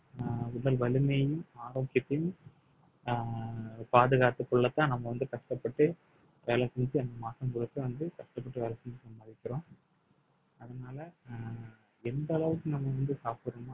அஹ் உடல் வலிமையையும் ஆரோக்கியத்தையும் அஹ் பாதுகாத்துக் கொள்ளத்தான் நம்ம வந்து கஷ்டப்பட்டு வேலை செஞ்சு அந்த மாசம் முழுக்க வந்து கஷ்டப்பட்டு வேலை செஞ்சு சம்பாதிக்கிறோம் அதனால அஹ் எந்த அளவுக்கு நம்ம வந்து சாப்பிடுறோமோ